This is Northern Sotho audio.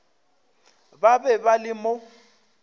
ba be ba le mo